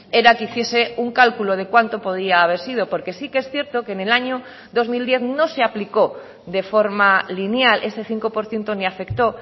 era que hiciese un cálculo de cuánto podía haber sido porque sí que es cierto que en el año dos mil diez no se aplicó de forma lineal ese cinco por ciento ni afectó